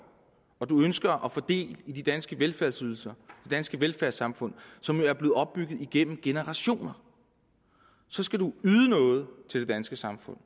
og ønsker at få del i de danske velfærdsydelser det danske velfærdssamfund som jo er blevet opbygget igennem generationer så skal man yde noget til det danske samfund